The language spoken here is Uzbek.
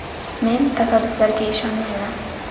Men tasodiflarga ishonmayman.